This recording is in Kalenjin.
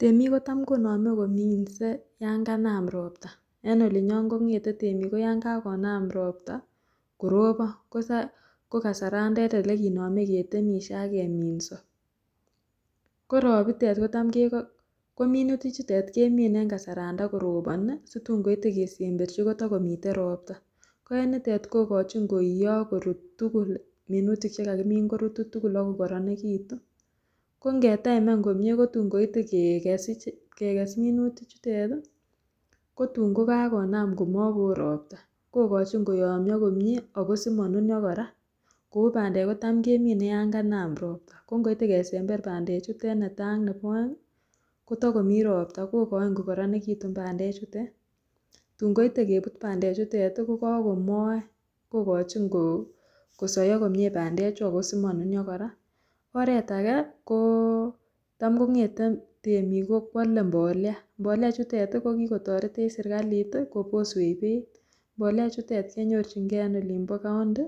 Temiik kotam konomee kominse yoon kanam robta, en olinyon kong'eten temik yoon kakonam robta korobon ko kasarantet elekinome ketemishe ak keminso, korobitet kotamke, kominutichutet kemine en kasaran takoroboni situn koite kesemberchi kotakomiten robta, ko en nitet kokochin koiyo ak korut tukul minutik tukul chekakimin korutu tukul ak kokoronekitu, kong'etaimen komnye kotun koite kekes minutichutet kotun kokakonam komokowoo robta kokochin koyomnyo komie ako simonunio kora koubandek kotam kemine yoon kanam robta ko ng'oite kesember bandechutet netaa nebo oeng kotokomi robta, kokoin kokoronekitun bandechutet tuun koite kebut bandechutet ko kokomoen kokochin kosoyo komnye bandechu ak ko simonunio, oreet akee ko taam kong'ete temiik kwole mbolea, mbolea ichutet ko kikotoretech serikalit koboswech beiit, mbolea ichutet kenyorching'e en olimbo county